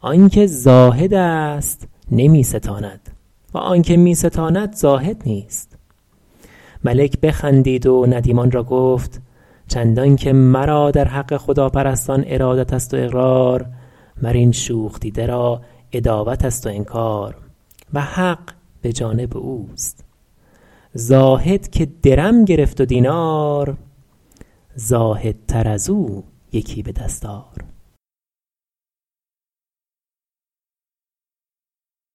آن که زاهد است نمی ستاند و آن که می ستاند زاهد نیست ملک بخندید و ندیمان را گفت چندان که مرا در حق خداپرستان ارادت است و اقرار مر این شوخ دیده را عداوت است و انکار و حق به جانب اوست زاهد که درم گرفت و دینار زاهدتر از او یکی به دست آر